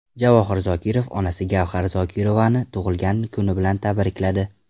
Javohir Zokirov onasi Gavhar Zokirovani tug‘ilgan kuni bilan tabrikladi.